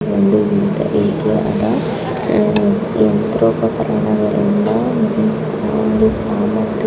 ಇದು ಒಂದು ರೀತಿಯಾದ ಯಂತ್ರೋಪಕರಣಗಳನ್ನು ಒಂದು ಸಾಲಾಗಿ--